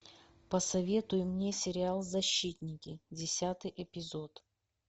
посоветуй мне сериал защитники десятый эпизод